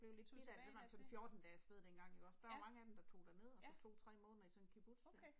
Tog tilbage dertil. Ja. Ja. Okay